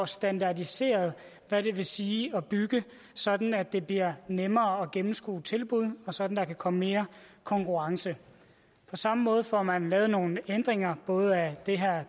standardiseret hvad det vil sige at bygge sådan at det bliver nemmere at gennemskue tilbud og sådan at der kan komme mere konkurrence på samme måde får man lavet nogle ændringer både af det